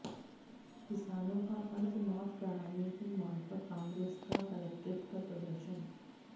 किसानों का कर्ज माफ कराने की मांग पर काॅग्रेस का कलेक्ट्रेट पर प्रदर्शन